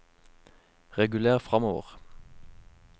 reguler framover